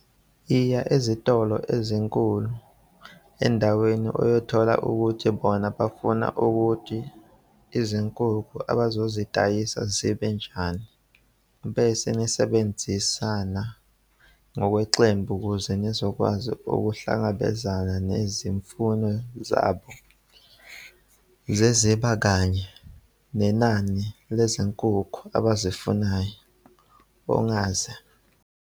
"Iya ezitolo ezinkulu endaweni uyothola ukuthi bona bafuna ukuthi izinkukhu abazozidayisa zibe njani bese nisebenza ngokwamaqembu ukuze nizokwazi ukuhlangabezana nezimfuno zabo zezinga kanye nenani lezinkukhu abazifunayo," ongeza.